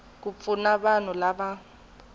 ku pfuna vanhu lava nga